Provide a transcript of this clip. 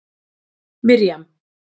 Mirjam